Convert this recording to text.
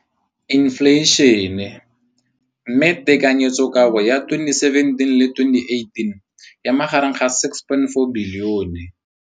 Infleišene, mme tekanyetsokabo ya 2017, 18, e magareng ga R6.4 bilione.